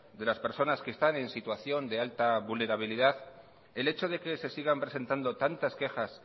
de las personas que están en situación de alta vulnerabilidad el hecho de que sigan presentando tantas quejas